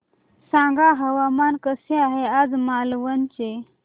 सांगा हवामान कसे आहे आज मालवण चे